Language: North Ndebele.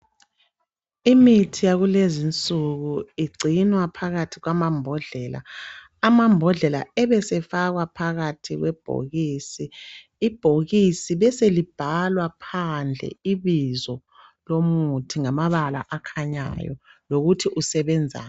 Imithi yakulezi insuku igcinwa phakathi kwamambodlela. Amambodlela afakwa phakathi kwamabhokisi besekubhalwa kulo ibizo lomuthi ngamabala aķhanyayo lokuthi usebenzani.